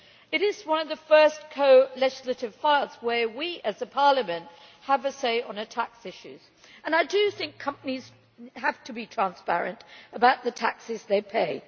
It is one of the first co legislative files where we as a Parliament have a say on tax issues, and I think companies have to be transparent about the taxes they pay.